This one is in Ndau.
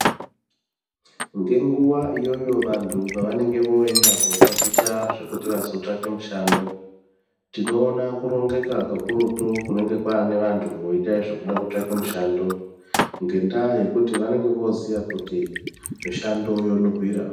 Ngenguwa iyoyo vantu pavanenge veiende kootaticha zvekuti vazotsvake mishando tinoona kurongeka kakurutu kunenge kwaaneanhu vanenge voite zvekude kutsvake mushando ngendaa yekuti vanenge vooziya kuti mushando wonuhwira.